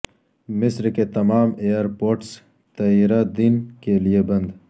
مصر کے تمام ایئرپورٹس تیرہ دن کے لیے بند